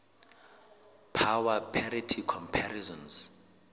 power parity comparisons